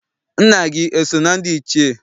Nna gị eso na ndị Ichie?